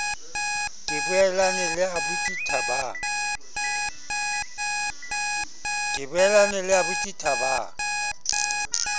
ke boelane le aubuti thabang